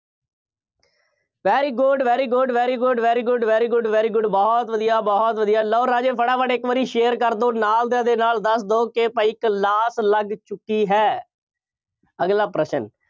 very good, very good, very good, very good, very good, very good ਬਹੁਤ ਵਧੀਆ, ਬਹੁਤ ਵਧੀਆ, ਲਓ ਰਾਜੇ ਫਟਾਫਟ ਇੱਕ ਵਾਰੀ share ਕਰ ਦਿਓ। ਨਾਲ ਦੇ ਨਾਲ ਦੱਸ ਦਿਓ ਕਿ ਭਾਈ ਇੱਕ ਲਾਤ ਲੱਗ ਚੁੱਕੀ ਹੈ। ਅਗਲਾ ਪ੍ਰਸ਼ਨ,